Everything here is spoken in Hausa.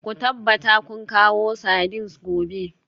Ku tabbata kun kawo sardines gobe